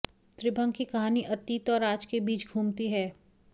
त्रिभंग की कहानी अतीत और आज के बीच घूमती है